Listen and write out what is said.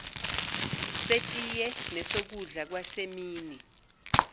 setiye nesokudla kwasemini